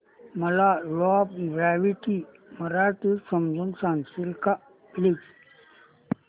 मला law of gravity मराठीत समजून सांगशील का प्लीज